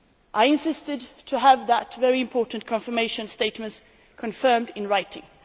I insisted to have that very important confirmation statement confirmed in writing.